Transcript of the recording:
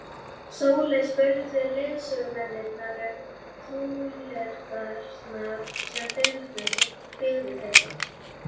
Sóley spurði leiðsögumennina um flúðirnar sem biðu þeirra.